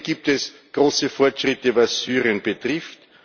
Und hier gibt es große Fortschritte, was Syrien betrifft.